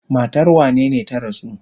Matar wanene ta rasu?